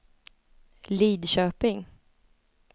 Lidköping